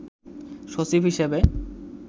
সচিব হিসেবে